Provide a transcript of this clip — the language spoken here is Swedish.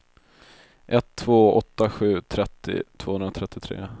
ett två åtta sju trettio tvåhundratrettiotre